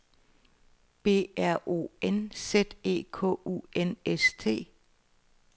B R O N Z E K U N S T